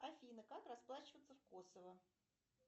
афина как расплачиваться в косово